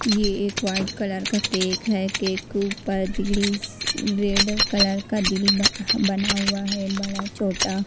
ये एक white colour का केक है केक के ऊपर दिल्स रेड कलर का दिल ह बना हुआ है बड़ा-छोटा।